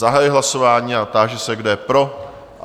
Zahajuji hlasování a táži se, kdo je pro?